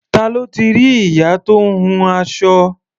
Ta ló ti rí ìyá tó ń hun aṣọ?